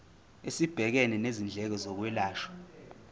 esibhekene nezindleko zokwelashwa